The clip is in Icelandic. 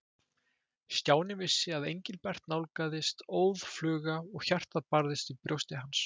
Stjáni vissi að Engilbert nálgaðist óðfluga og hjartað barðist í brjósti hans.